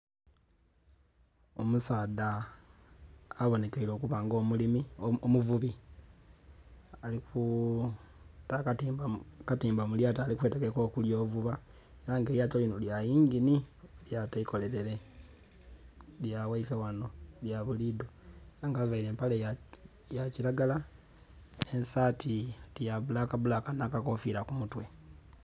Omusaadha abonhekeire okuba nga omulimi, omuvubi alina akatimba mu lyato alikwetegeka okugya ovuba. Aye nga elyato linho lya yinginhi elyato eikolelele nga lya ghaife ghanho lya buli idho, ela nga avaire empale ya kilagala nh'esaati oti ya bbulaka bbulaka nhakakofiila ku mutwe.